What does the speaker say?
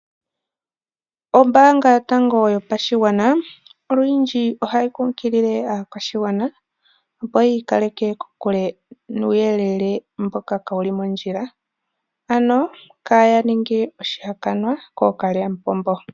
Ombaanga yotango yopashigwana olundji ohayi kunkilile aakwashigwana opo ya ikaleke kokule nuuyelele mboka kawu li mondjila, ano kaya ninge oshihakanwa kookalyamupombo.